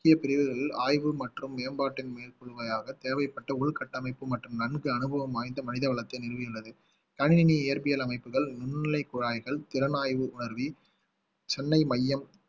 முக்கிய பிரிவுகளில் ஆய்வு மற்றும் மேம்பாட்டு தேவைப்பட்ட உள்கட்டமைப்பு மற்றும் நன்கு அனுபவம் வாய்ந்த மனித வளர்ச்சியை நிறுவியுள்ளது கணினி இயற்பியல் அமைப்புகள் நுண்நிலை குழாய்கள் திறனாய்வு உணர்வு சென்னை மையம்